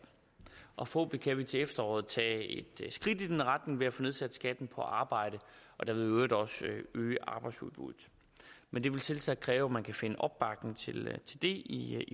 og forhåbentlig kan vi til efteråret tage et skridt i den retning ved at få nedsat skatten på arbejde og derved i øvrigt også øge arbejdsudbuddet men det vil selvsagt kræve at man kan finde opbakning til det i